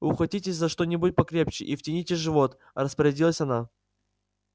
ухватитесь за что-нибудь покрепче и втяните живот распорядилась она